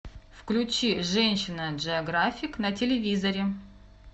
включи женщина джеографик на телевизоре